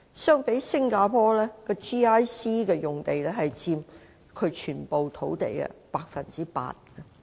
相比之下，新加坡的 GIC 用地佔其全國土地的 8%。